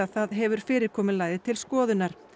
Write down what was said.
það hefur fyrirkomulagið til skoðunar